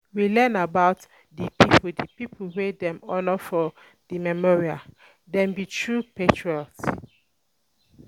We learn about di pipo di pipo wey dem honor for di memorial, dem be true patriots.